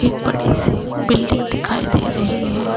एक बड़ी सी बिल्डिंग दिखाई दे रही है।